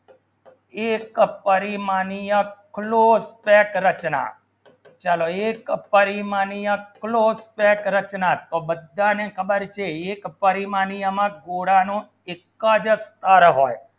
એકચ કરી માની close set રચના ચલો એકચ કરી માની close set રચના તો બધા ખબર છે તો એક પરિમાણી એટલા એકચ ટાર હોય